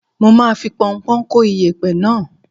Mo máa fi pọnpọ́ń kó iyẹ̀pẹ̀ náà.